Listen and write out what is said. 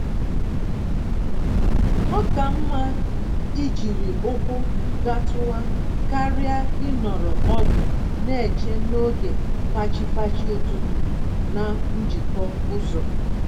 Oka mma ijiri ụkwụ gatuwa karịa ịnọrọ ọdụ n'eche n'oge fachi-fachi ụtụtụ na njikọ ụzọ